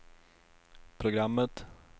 programmet